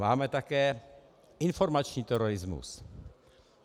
Máme také informační terorismus.